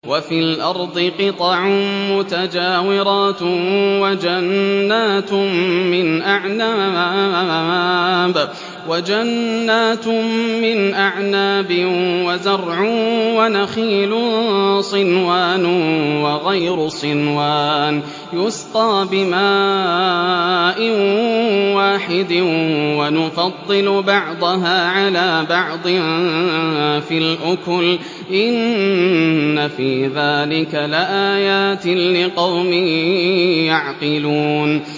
وَفِي الْأَرْضِ قِطَعٌ مُّتَجَاوِرَاتٌ وَجَنَّاتٌ مِّنْ أَعْنَابٍ وَزَرْعٌ وَنَخِيلٌ صِنْوَانٌ وَغَيْرُ صِنْوَانٍ يُسْقَىٰ بِمَاءٍ وَاحِدٍ وَنُفَضِّلُ بَعْضَهَا عَلَىٰ بَعْضٍ فِي الْأُكُلِ ۚ إِنَّ فِي ذَٰلِكَ لَآيَاتٍ لِّقَوْمٍ يَعْقِلُونَ